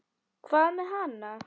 Hvað með hana?